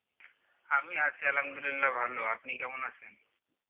আমি আছি আলহামদুলিল্লাহ ভালো আপনি কেমন আছেন